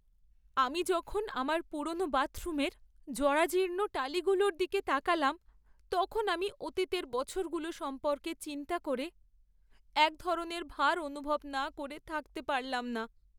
আমি যখন আমার পুরোনো বাথরুমের জরাজীর্ণ টালিগুলোর দিকে তাকালাম, তখন আমি অতীতের বছরগুলো সম্পর্কে চিন্তা করে এক ধরণের ভার অনুভব না করে থাকতে পারলাম না।